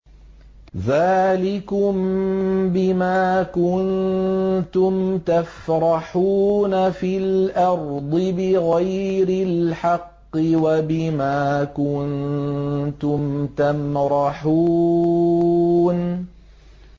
ذَٰلِكُم بِمَا كُنتُمْ تَفْرَحُونَ فِي الْأَرْضِ بِغَيْرِ الْحَقِّ وَبِمَا كُنتُمْ تَمْرَحُونَ